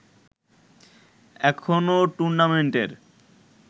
এখনো টুর্নামেন্টের